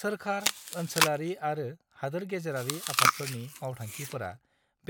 सोरखार, ओनसोलारि आरो हादोर-गेजेरारि आफादफोरनि मावथांखिफोरा